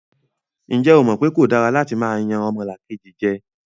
Ǹjẹ́ o mọ̀ pé kò dára látí máa yan ọmọlàkejì jẹ?